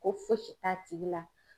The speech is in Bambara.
Ko fosi t'a tigi la.